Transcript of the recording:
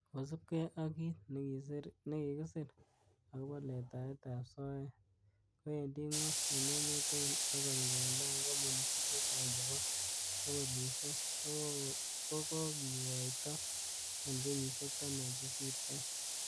Kosiibge ak kit nekikisir agobo letaetab soet kowendi gwony en emet tugul, ogot ngandan kompunisiek chechang chebo kebolisiek kokokikoito en kenyisiek taman che kisirto.